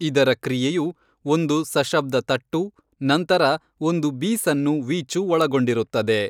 ಇದರ ಕ್ರಿಯೆಯು ಒಂದು ಸಶಬ್ದ ತಟ್ಟು, ನಂತರ ಒಂದು ಬೀಸನ್ನು ವೀಚು ಒಳಗೊಂಡಿರುತ್ತದೆ.